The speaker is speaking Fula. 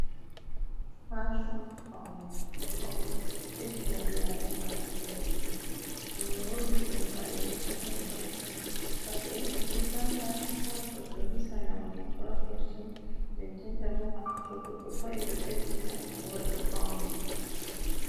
Fashon paune ɗo ɓeddina bii adamajo voɗugo, bo ɓe holli ɗum paɗeji ɓe holli paɗe do valla ha goɗɗo hisa naune ko ha kosɗe nden nden ta bo to goɗɗo paɗi ɗo ɓeddina goɗɗo paune.